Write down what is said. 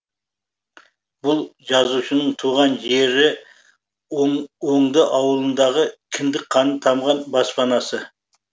бұл жазушының туған жері оңды ауылындағы кіндік қаны тамған баспанасы